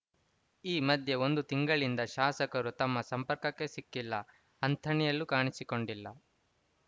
ಈ ಮಧ್ಯೆ ಒಂದು ತಿಂಗಳಿಂದ ಶಾಸಕರು ತಮ್ಮ ಸಂಪರ್ಕಕ್ಕೆ ಸಿಕ್ಕಿಲ್ಲ ಅಂಥಣಿಯಲ್ಲೂ ಕಾಣಿಸಿಕೊಂಡಿಲ್ಲ